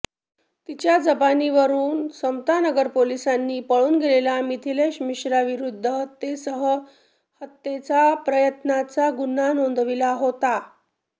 तिच्या जबानीवरुन समतानगर पोलिसांनी पळून गेलेल्या मिथिलेश मिश्राविरुद्ध हत्येसह हत्येचा प्रयत्नाचा गुन्हा नोंदविला होता